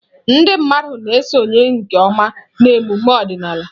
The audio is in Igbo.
Ndị mmadụ na-esonye nke ọma na emume ọdịnala.